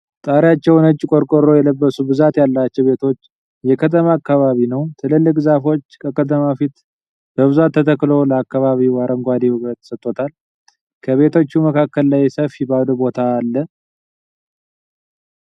ጣሪያቸዉ ነጭ ቆርቆሮ የለበሱ ብዛት ያላቸዉ ቤቶች የከተማ አካባቢ ነዉ። ትላልቅ ዛፎች ከከተማዉ ፊት በብዛት ተተክሎ ለአካባቢዉ አረንጓዴ ዉበት ሰጦታል። ከቤቶቹ መካከል ላይ ሰፊ ባዶ ቦታ አለ።